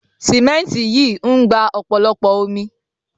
Sìmẹ́ǹtì yìí ń gba ọ̀pọ̀lọpọ̀ omi.